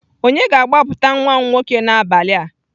Onye ga-agbapụta nwa m nwoke n'abalị a?